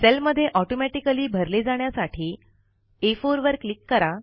सेलमध्ये ऑटोमॅटिकली भरले जाण्यासाठी आ4 वर क्लिक करा